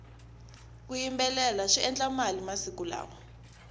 ku yimbelela swi endla mali masiku lawa